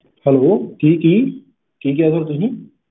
hello ਕਿ ਕਿ ਕਿ ਕਹਿ ਰਹੇ sir ਹੋ ਜੀ